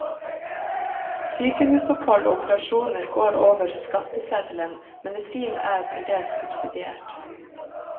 Sykehusopphold og operasjoner går over skatteseddelen, medisin er til dels subsidiert.